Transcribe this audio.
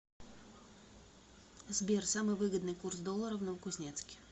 сбер самый выгодный курс доллара в новокузнецке